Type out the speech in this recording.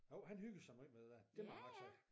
Jo han hygger sig meget med det dér det var ret sej